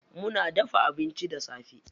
Muna dafa abinci da safe.